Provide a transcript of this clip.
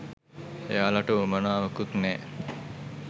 එයාලට උවමනාවකුත් නෑ